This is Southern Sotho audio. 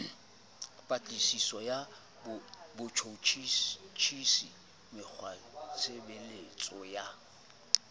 patlisiso ya botjhutjhisi mekgwatshebetso ya